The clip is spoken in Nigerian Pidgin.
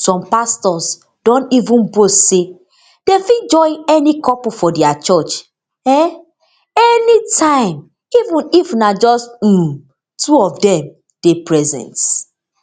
some pastors don even boast say dem fit join any couple for dia church um anytime even if na just um two of dem dey present